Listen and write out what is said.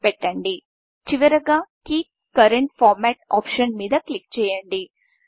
చివరగా copy current format keep current format option మీద click చేయండి